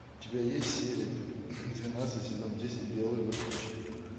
у тебя есть серия двенадцать сезон десять белые воротнички